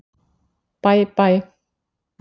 Bæ Bæ.